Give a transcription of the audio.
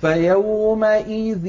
فَيَوْمَئِذٍ